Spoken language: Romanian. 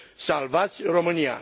Salvați România!